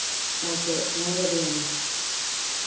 okay ഞാൻ ready ആണ്